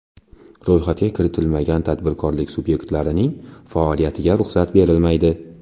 Ro‘yxatga kiritilmagan tadbirkorlik subyektlarning faoliyatiga ruxsat berilmaydi.